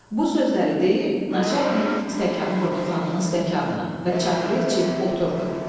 Bu sözləri deyib, naçalnik stəkanı vurdu xanımın stəkanına və çaxırı içib oturdu.